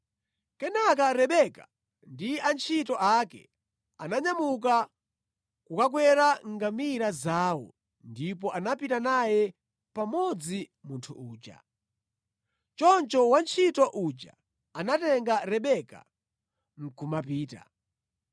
Kenaka Rebeka ndi antchito ake ananyamuka kukakwera ngamira zawo ndipo anapita naye pamodzi munthu uja. Choncho wantchito uja anatenga Rebeka nʼkumapita.